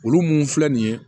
Olu mun filɛ nin ye